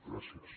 gràcies